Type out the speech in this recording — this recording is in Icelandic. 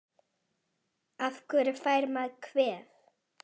Af hverju fær maður kvef?